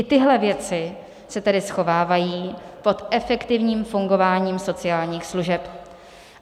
I tyhle věci se tedy schovávají pod efektivním fungováním sociálních služeb.